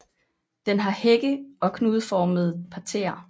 Den har hække og knudeformede parterrer